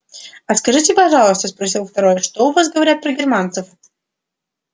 а скажите пожалуйста спросил второй что у вас говорят про германцев